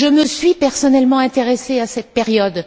Je me suis personnellement intéressée à cette période.